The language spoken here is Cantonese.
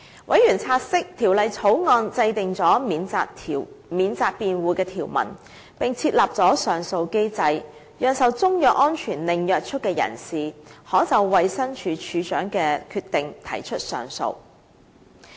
委員察悉，《條例草案》制訂了免責辯護的條文，並設立了上訴機制，讓受中藥安全令約束的人士，可就衞生署署長的決定提出上訴。